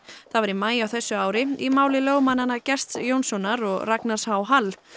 það var í maí á þessu ári í máli lögmannanna Gests Jónssonar og Ragnars h Hall